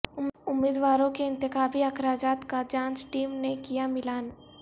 امیدوارو ں کے انتخابی اخراجات کا جانچ ٹیم نے کیا ملان